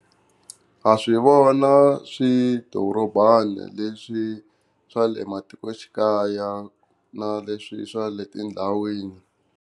Ha swi vona swidorobana leswi swa le matikoxikaya na leswi swa le tindhawini.